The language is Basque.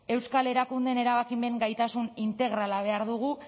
euskal erakundeen erabakimen gaitasun integrala behar dugu